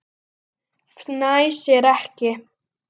Fnæsir ekki.